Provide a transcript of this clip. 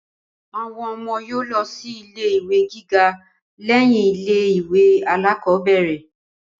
Àwọn ọmọ yóò lọ sí ilé ìwé gíga lẹ́yìn ilé ìwé alákọ́bẹ̀rẹ̀